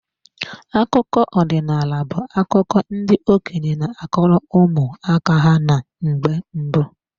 Akụkọ ọdinaala bu akụkọ ndị okenye n'akọrọ ụmụ aka ha na mgbe mbụ.